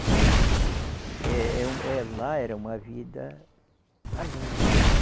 Então, é é um, lá era uma vida alegre.